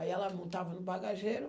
Aí ela montava no bagageiro.